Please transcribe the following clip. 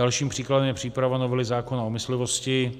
Dalším příkladem je příprava novely zákona o myslivosti,